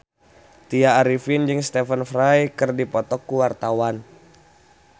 Tya Arifin jeung Stephen Fry keur dipoto ku wartawan